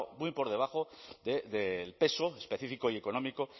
muy por debajo del peso específico y económico